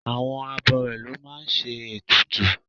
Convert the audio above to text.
Àwọn abọrẹ̀ ló máa ń ṣe ètùtù